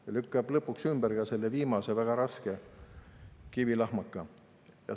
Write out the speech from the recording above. See lükkab lõpuks ümber ka viimase väga raske kivilahmaka.